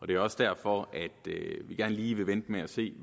det er også derfor vi gerne lige vil vente med at se